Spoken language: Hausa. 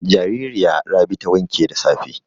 Jaririya Rabi ta wanke da safe.